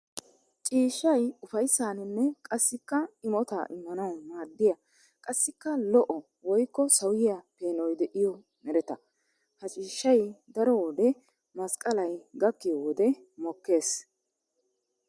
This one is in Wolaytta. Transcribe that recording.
Ciishshay ufayssaninne qassikka imotta imannawu maadiya qassikka lo'o woykko sawiya peenoy de'iyo meretta. Ha ciishshay daro wode masqqallay gakkiyo wode mokkees.